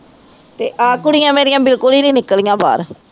ਅਤੇ ਆਹ ਕੁੜੀਆਂ ਮੇਰੀਆਂ ਬਿਲਕੁਲ ਹੀ ਨਹੀਂ ਨਿਕਲੀਆਂ ਬਾਹਰ